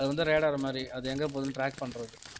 ஆஹ் அது வந்து radar மாதிரி அது எங்க போகுதுன்னு track பண்றது